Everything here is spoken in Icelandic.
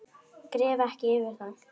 Gref ekki yfir það.